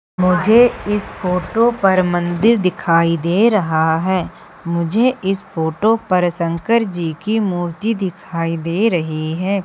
मुझे इस फोटो पर मंदिर दिखाई दे रहा है मुझे इस फोटो पर शंकर जी की मूर्ति दिखाई दे रही है।